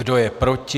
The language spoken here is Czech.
Kdo je proti?